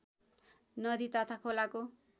नदी तथा खोलाको